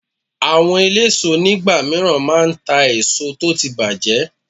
Àwọn eléso nígbà míràn máa ta èso tó ti bàjẹ́